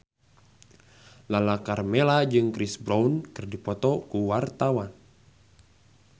Lala Karmela jeung Chris Brown keur dipoto ku wartawan